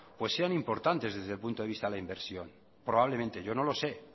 pues sean importantes desde el punto de vista de la inversión probablemente yo no lo sé